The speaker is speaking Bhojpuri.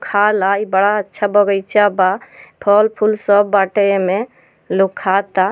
खा ल इ बड़ा अच्छा बगैचा बा। फल फूल सब बाटे एने लोग खा ता।